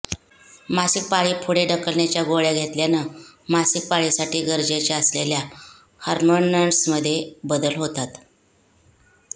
मासिक पाळी पुढे ढकलण्याच्या गोळ्या घेतल्यानं मासिक पाळीसाठी गरजेच्या असलेल्या हार्मोन्समध्ये बदल होतात